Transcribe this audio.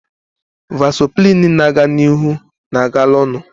Vasoprin na-aga n'ihu na-agala onu